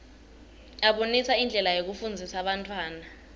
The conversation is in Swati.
abonisa indlela yekufundzisa bantfwana